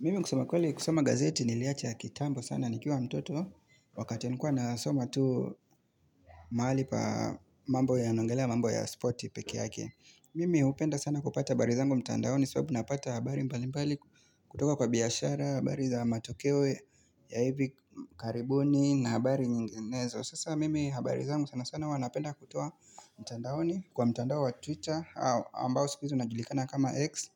Mimi kusema kweli kusoma gazeti niliacha kitambo sana nikiwa mtoto Wakati nilikuwa nasoma tu mahali pa mambo yanaongelea mambo ya sporti pekee yake Mimi hupenda sana kupata habari zangu mtandaoni sababu napata habari mbali mbali kutoka kwa biashara habari za matokeo ya hivi karibuni na habari nyinginezo. Sasa mimi habari zangu sana sana huwa napenda kutoa mtandaoni Kwa mtandao wa twitter ambao sikuhizi unajulikana kama x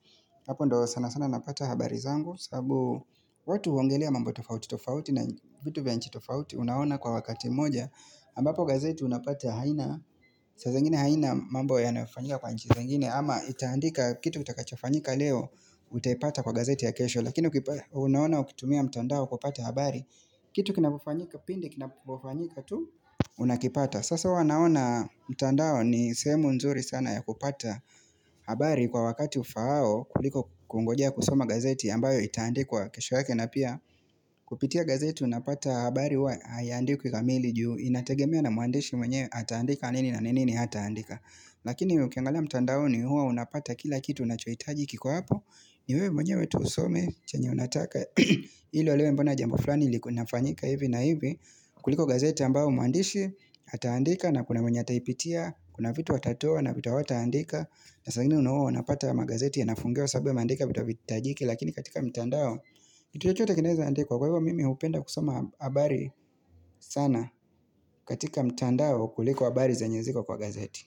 Hapo ndo sana sana napata habari zangu sabu watu huongelea mambo tofauti tofauti na vitu vya nchi tofauti Unaona kwa wakati mmoja ambapo gazeti unapata haina saa zingine haina mambo yanafanyika kwa nchi zingine ama itaandika kitu kitakachofanyika leo Utaipata kwa gazeti ya kesho Lakini unaona ukitumia mtandao kupata habari Kitu kinapofanyika pindi kinapofanyika tu Unakipata Sasa huwa naona mtandao ni sehemu nzuri sana ya kupata habari Kwa wakati ufaao kuliko kungoja kusoma gazeti ambayo itaandikwa kesho yake na pia Kupitia gazeti unapata habari huwa haiandikwi kikamili juu Inategemea na mwandishi mwenye ataandika nini na nini hataandika Lakini ukiangala mtandaoni huwa unapata kila kitu unachohitaji kiko hapo Niwewe mwenyewe tu usome chenye unataka ili ulewe mbona jambo fulani ilikuwa inafanyika hivi na hivi kuliko gazeti ambayo mwandishi ataandika na kuna mwenye ataipitia Kuna vitu watatoa na vitu hawataandika na saa ingine una huwa unapata magazeti ya nafungiwa sababu wameandika vitu haviitajiki Lakini katika mtandao, kitu chochote kinaweza andikwa kwa hivyo mimi hupenda kusoma habari sana katika mtandao kuliko habari zenye ziko kwa gazeti.